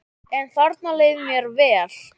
En þarna leið mér vel.